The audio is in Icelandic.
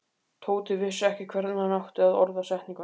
Tóti vissi ekki hvernig hann átti að orða setninguna.